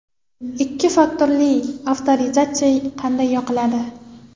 Ikki faktorli avtorizatsiya qanday yoqiladi?